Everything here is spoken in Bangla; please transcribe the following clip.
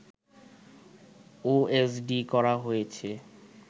ওএসডি করা হয়েছে